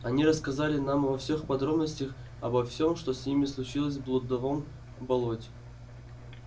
они рассказали нам во всех подробностях обо всем что с ними случилось в блудовом болоте